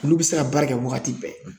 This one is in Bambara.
Olu bɛ se ka baara kɛ wagati bɛɛ.